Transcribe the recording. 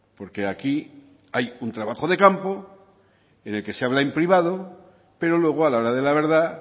porque aquí hay un trabajo de campo en el que se habla en privado pero luego a la hora de la verdad